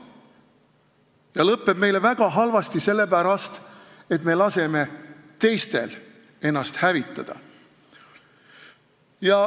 See lõpeb meile väga halvasti sellepärast, et me laseme teistel ennast hävitada.